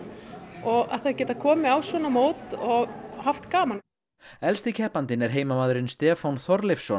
og að geta komið á svona mót og haft gaman elsti keppandinn er heimamaðurinn Stefán Þorleifsson